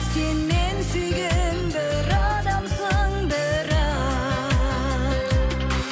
сен мен сүйген бір адамсың бірақ